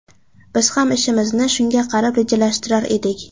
Biz ham ishimizni shunga qarab rejalashtirar edik.